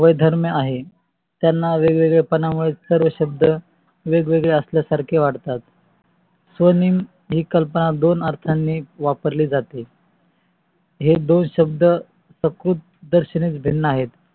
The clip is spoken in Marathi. त्या वेग्व्गेले पण मुळे सर्व शब्द वेगवेगळे साल्या सारखे वाटतात स्वनीयम ही संकल्पना दोन अर्थानी वर्पारली जाते हे दोन शब्द सकृतदर्शनी भिन्न आहेत.